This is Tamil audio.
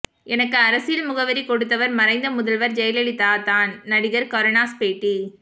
எனக்கு அரசியல் முகவரி கொடுத்தவர் மறைந்த முதல்வர் ஜெயலலிதா தான் நடிகர் கருணாஸ் பேட்டி